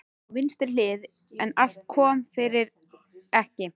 Á vinstri hlið, en allt kom fyrir ekki.